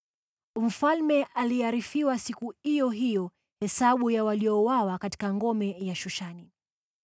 Mfalme aliarifiwa siku iyo hiyo hesabu ya waliouawa katika ngome ya Shushani.